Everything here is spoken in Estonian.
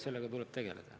Sellega tuleb tegeleda.